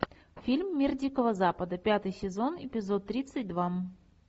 фильм мир дикого запада пятый сезон эпизод тридцать два